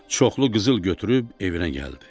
Çoxlu qızıl götürüb evinə gəldi.